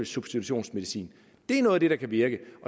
substitutionsmedicin det er noget af det der kan virke